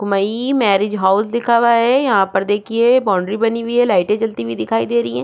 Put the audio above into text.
मैइ marriage hall लिखा हुआ है यहाँ पर देखिये बॉन्ड्री बनी हुई है लाइटे जलती हुई दिखाई दे रही है।